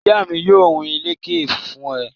Ìyá mi yóò hun ìlẹ́kẹ̀ fún ẹ